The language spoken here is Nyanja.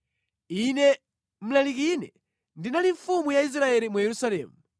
Ine, Mlalikine, ndinali mfumu ya Israeli mu Yerusalemu.